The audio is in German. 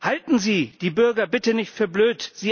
Halten Sie die Bürger bitte nicht für blöd!